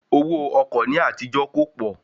Owó ọkọ̀ ní àtijó kò pọ̀